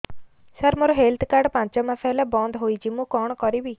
ସାର ମୋର health card ପାଞ୍ଚ ମାସ ହେଲା ବଂଦ ହୋଇଛି ମୁଁ କଣ କରିବି